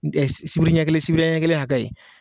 N tɛ sibiri ɲɛkelen sibiri ɲɛkelen a kɛ ye.